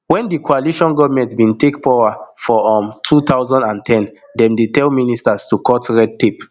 wen di coalition goment bin take power for um two thousand and ten dem tell ministers to cut red tape